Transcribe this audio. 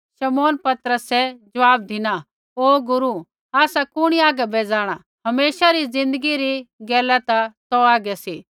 शमौन पतरसै ज़वाब धिना ओ गुरू आसा कुणी आगै बै जाँणा हमेशा री ज़िन्दगी री गैला ता तौ हागै सी